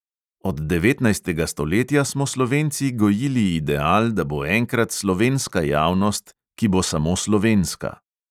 Od devetnajstega stoletja smo slovenci gojili ideal, da bo enkrat slovenska javnost, ki bo samo slovenska.